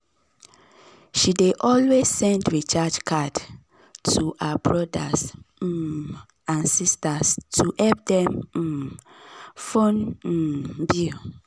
she dey always send recharge card to her brothers um and sisters to help dem um phone um bill.